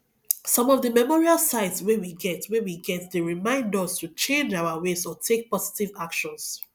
some of di memorial sites wey we get wey we get dey remind us to change our ways or take positive actions